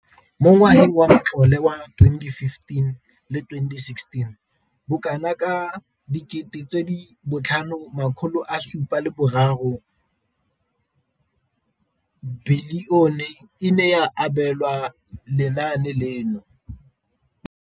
Mo ngwageng wa matlole wa 2015,16, bokanaka R5 703 bilione e ne ya abelwa lenaane leno.